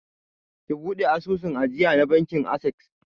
Ki buɗe asusun ajiya da bankin akses!